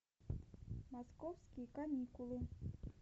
московские каникулы